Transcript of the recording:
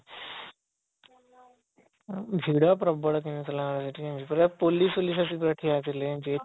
ଭିଡ ପ୍ରବଳ ଥିଲା ସେଠି ପୁରା ପୋଲିସ ଆସି ପୁରା ଠିଆ ହେଇଥିଲେ